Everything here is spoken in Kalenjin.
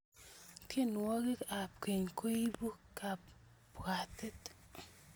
tienwokik ap keny koibu kapwatet